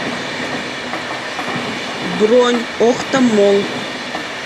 бронь охта молл